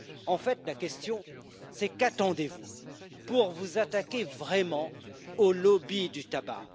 En fait, la question, c'est qu'attendez vous pour vous attaquer vraiment au lobby du tabac?